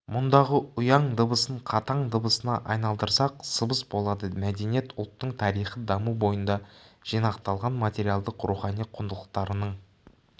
мұндағы ұяң дыбысын қатаң дыбысына айналдырсақ сыбыс болады мәдениет ұлттың тарихи даму бойында жинақталған материалдық-рухани құндылықтарының